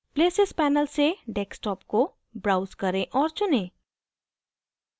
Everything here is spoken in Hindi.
places panel से desktop को browse करें और चुनें